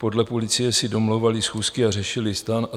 Podle policie si domlouvali schůzky a řešili STAN".